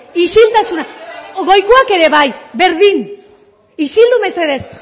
isiltasuna goikoak ere bai berdin isildu mesedez